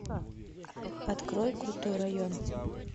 открой крутой район